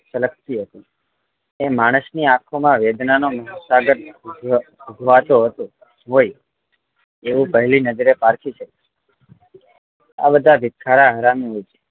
છલકતી હતી એ માણસ ની આંખો માં વેદના સાગર વહેતો હોઈ એવું પેહલી નજરે પારખી શકાય આ બધા ભીખાવરા હરામી હોય છે